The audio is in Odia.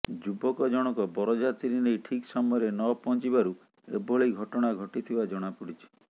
ଯୁବକ ଜଣକ ବରଯାତ୍ରୀ ନେଇ ଠିକ୍ ସମୟରେ ନ ପହଞ୍ଚିବାରୁ ଏଭଳି ଘଟଣା ଘଟିଥିବା ଜଣାପଡ଼ିଛି